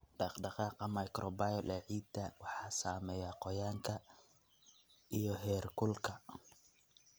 Dhaqdhaqaaqa microbial ee ciidda waxaa saameeya qoyaanka iyo heerkulka.